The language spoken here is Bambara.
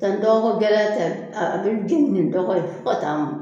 Sisan ni dɔgɔkogɛlɛya tɛ a bɛ jeni ni dɔgɔ ye fo ka t'a mɔ